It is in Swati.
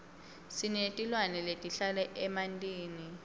sinetilwane letihlala emantini